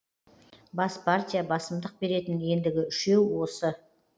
бас партия басымдық беретін ендігі үшеу осы